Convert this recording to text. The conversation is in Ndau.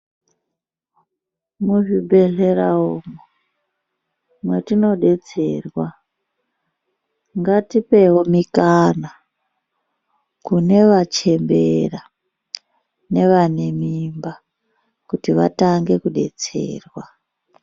Muzvibhedhleramo matinodetserwa ngatipewo mukana kune vachembera nevane mimba kuti vatange kudetserwa.